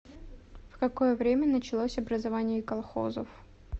в какое время началось образование колхозов